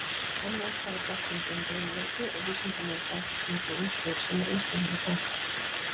Enn vantar á þekkingu um riðuveiki og vísindalega staðfestingu á ýmsu, sem reynslan hefur kennt.